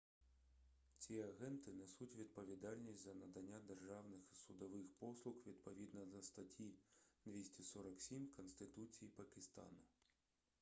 ці агенти несуть відповідальність за надання державних і судових послуг відповідно до статті 247 конституції пакистану